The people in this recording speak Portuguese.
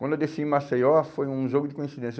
Quando eu desci em Maceió, foi um jogo de coincidência.